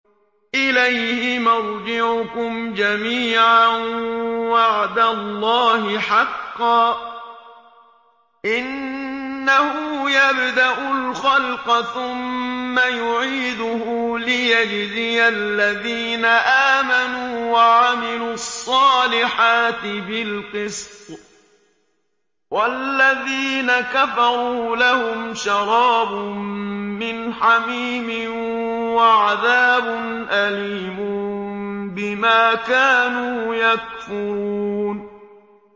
إِلَيْهِ مَرْجِعُكُمْ جَمِيعًا ۖ وَعْدَ اللَّهِ حَقًّا ۚ إِنَّهُ يَبْدَأُ الْخَلْقَ ثُمَّ يُعِيدُهُ لِيَجْزِيَ الَّذِينَ آمَنُوا وَعَمِلُوا الصَّالِحَاتِ بِالْقِسْطِ ۚ وَالَّذِينَ كَفَرُوا لَهُمْ شَرَابٌ مِّنْ حَمِيمٍ وَعَذَابٌ أَلِيمٌ بِمَا كَانُوا يَكْفُرُونَ